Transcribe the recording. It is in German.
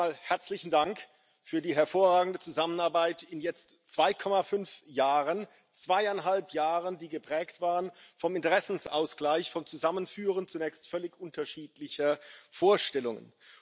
Zunächst einmal herzlichen Dank für die hervorragende Zusammenarbeit in jetzt zweieinhalb Jahren zweieinhalb Jahre, die geprägt waren vom Interessenausgleich, vom Zusammenführen zunächst völlig unterschiedlicher Vorstellungen.